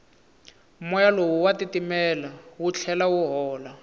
moya lowu wa titimela wu tlhela wu hola